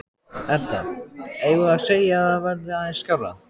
Edda: Eigum við að segja að það verði aðeins skárra?